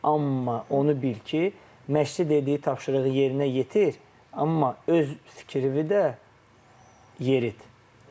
Amma onu bil ki, məşqçi dediyi tapşırığı yerinə yetir, amma öz fikrini də yerit.